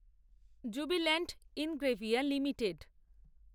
jubilant Ingrevia limited